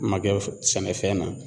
Ma kɛ sɛnɛfɛn na